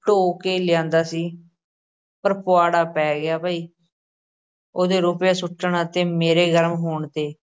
ਢੋ ਕੇ ਲਿਆਂਦਾ ਸੀ ਪਰ ਪੁਆੜਾ ਪੈ ਗਿਆ ਬਈ ਉਹਦੇ ਰੁਪਏ ਸੁੱਟਣ ਅਤੇ ਮੇਰੇ ਗਰਮ ਹੋਣ 'ਤੇ।